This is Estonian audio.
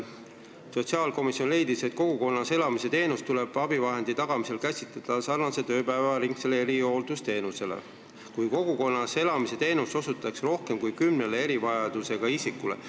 Sotsiaalkomisjon leidis, et kogukonnas elamise teenust tuleb abivahendi tagamisel käsitleda sarnaselt ööpäevaringse erihooldusteenusega, kui kogukonnas elamise teenust osutatakse rohkem kui kümnele erivajadusega isikule.